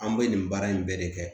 An bɛ nin baara in bɛɛ de kɛ